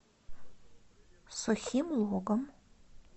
сухим логом